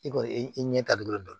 I kɔni i ɲɛ ta dɔrɔn